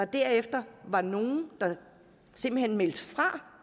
var der nogle der simpelt hen meldte fra